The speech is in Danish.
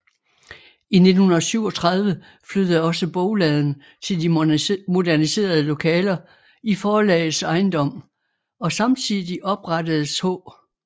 I 1937 flyttede også bogladen til de moderniserede lokaler i forlagets ejendom og samtidig oprettedes H